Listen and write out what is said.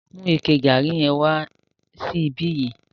Mu ike garri yẹn wá sí ìbi yìí.